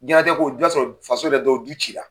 Dinɛlatigɛ kow i b'a sɔrɔ yɛrɛ faso dɔw du ci la.